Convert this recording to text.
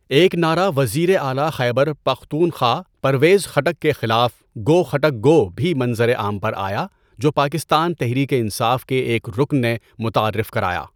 ایک نعرہ وزیر اعلی خیبر پختونخوا پرویز خٹک کے خلاف "گو خٹک گو" بھی منظر عام پر آیا جو پاکستان تحریک انصاف کے ایک رکن نے متعارف کرایا.